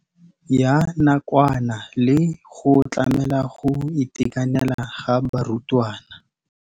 Ya nakwana le go tlamela go itekanela ga barutwana.